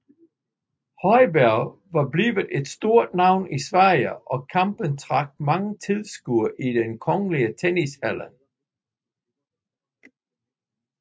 Högberg var blevet et stort navn i Sverige og kampen trak mange tilskuere i Kungliga Tennishallen